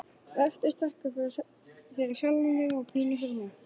Vertu sterkur, fyrir sjálfan þig og pínu fyrir mig.